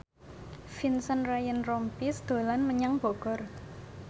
Vincent Ryan Rompies dolan menyang Bogor